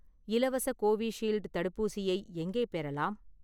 இலவச கோவிஷீல்டு தடுப்பூசியை எங்கே பெறலாம்?